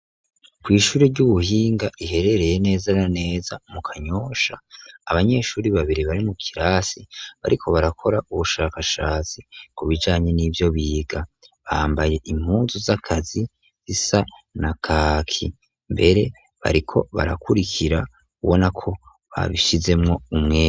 Kw'ishuri ry'ubuhinga iherereye neza ara neza mu kanyosha abanyeshuri babiri bari mu kirasi bariko barakora ubushakashatsi ku bijanye n'ivyo biga bambaye impuzu z'akazi zisa na kaki mbere bariko barakurikira ubo na ko babishizemu mwo umweme.